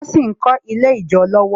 Wón sì ń kọ́ Ilé ijó lọ́wọ́